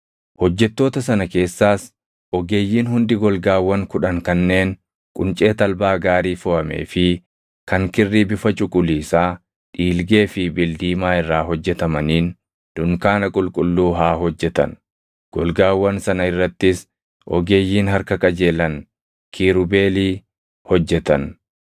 Hojjettoota sana keessaas ogeeyyiin hundi golgaawwan kudhan kanneen quncee talbaa gaarii foʼamee fi kan kirrii bifa cuquliisaa, dhiilgee fi bildiimaa irraa hojjetamaniin dunkaana qulqulluu haa hojjetan; golgaawwan sana irrattis ogeeyyiin harka qajeelan kiirubeelii hojjetan.